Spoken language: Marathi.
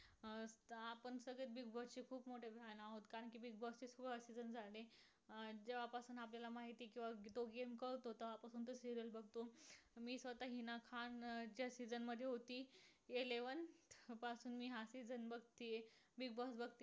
जेव्हापासून आपल्याला माहित आहे. किंवा जो game कळतो. तेंव्हा पासून तो serial बघतो. मी स्वतः हीना खान ज्या season मध्ये होती. eleven पासून मी हा season बघतीय. Bigg boss